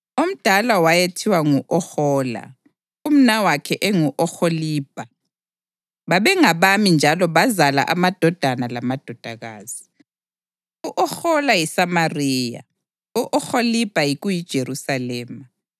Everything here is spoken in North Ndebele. Omdala wayethiwa ngu-Ohola, umnawakhe engu-Oholibha. Babengabami njalo bazala amadodana lamadodakazi. U-Ohola yiSamariya, u-Oholibha kuyiJerusalema.